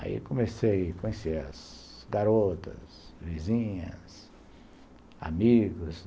Aí comecei, conheci as garotas, vizinhas, amigos.